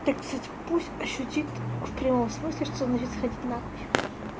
так пусть ощутит в прямом смысле что значит сходить на хуй